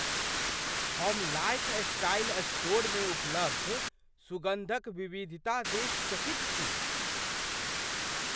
हम लाइफस्टाइल स्टोरमे उपलब्ध सुगन्धक विविधता देखि चकित छी।